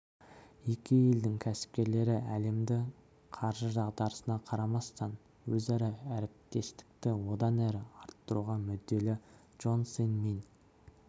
екі елдің кәсіпкерлері әлемдік қаржы дағдарысына қарамастан өзара әріптестікті одан әрі арттыруға мүдделі джон сын мин